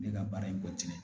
Ne ka baara in kɔ tiɲɛ